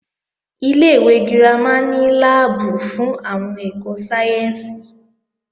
Ilé-ìwé girama ní láàbù fún àwọn ẹ̀kọ́ sáyẹ́ǹsì